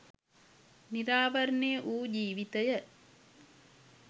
නිරාවරණය වූ ජීවිතය